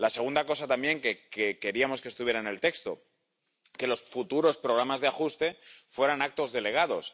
La segunda cosa también que queríamos que estuviera en el texto es que los futuros programas de ajuste fueran actos delegados.